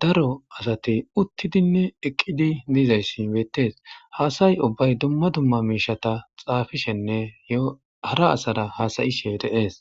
daro asati uttidinne eqqidi diizayssi beettees haasayi ubbay dumma dumma miishata xaafishenne yohara asara haasayishe deees.